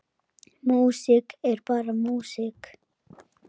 Músík er bara músík.